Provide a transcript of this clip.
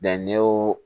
ne y'o